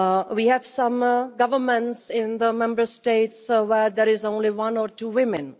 We have some governments in the Member States where there are only one or two women.